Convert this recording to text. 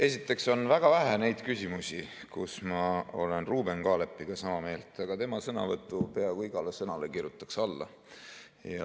Esiteks on väga vähe neid küsimusi, kus ma olen Ruuben Kaalepiga sama meelt, aga tema sõnavõtu peaaegu igale sõnale kirjutaks alla.